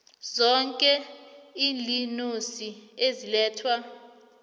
zoke iinonisi ezilethwa